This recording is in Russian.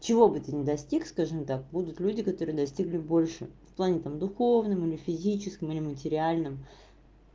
чего бы ты ни достиг скажем так будут люди которые достигли больше в плане там духовном или физическом или материальном